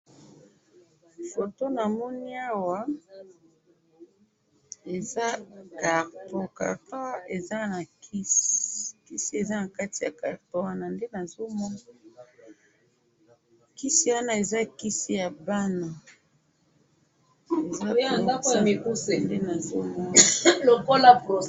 Photo na moni awa, eza carton eza nakati kisi, kisi eza nakati ya carton, kisi wana eza kisi yabana.